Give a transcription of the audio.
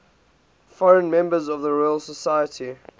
foreign members of the royal society